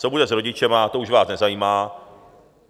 Co bude s rodiči, to už vás nezajímá.